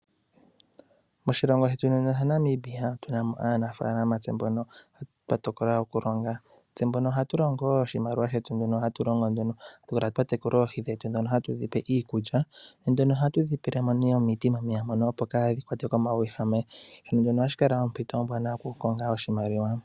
Moshilongo shetu muno shaNamibia otu na mo aanafalama tse mbono twa tokola okulonga tse mbono ohatu longo wo iimaliwa yetu mbyono hatu longo uuna twa tekula oohi dhetu dhono hatu dhipe iikulya ,ohatu dhipelemo omeya niikulya opo kaadhi kwatwe komauwehame ano shino ohashi kala ompito ombwaanawa yoku konga oahimaliwa.